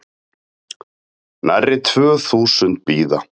Nærri tvö þúsund bíða